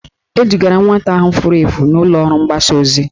Edugara nwata ahụ furu efu n'ụlọọrụ mgbasa ozi